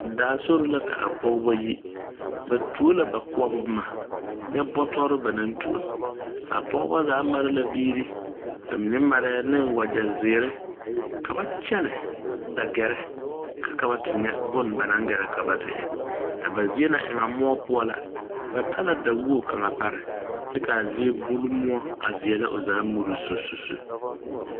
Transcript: Daa sori la ka a pogeba yi ba tuoɔ la ba boɔbɔ bomma nyɛ bɔtɔrre ba naŋ tuo a pogeba zaa mare la biire ba mine mareɛɛ neŋ wagyɛzeere ka ba kyɛnɛ a gɛrɛ ka ka ba te nyɛ bon ba naŋ gɛrɛ ka ba te e a ba zie na e ŋa moɔ poɔ ₵na ba ta la dawoge kaŋa pare kyɛ kaa zie bule moɔ a veɛlɛ o zaa murusususu.